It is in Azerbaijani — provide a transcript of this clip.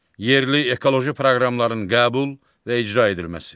Yerli ekoloji proqramların qəbul və icra edilməsi.